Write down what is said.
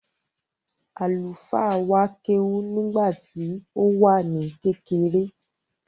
Àlùfáà wa kéwú nígbà tí ó wà ní kékeré.